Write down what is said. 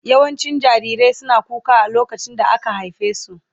Yawancin jarirai suna kuka a lokacin da aka haife su.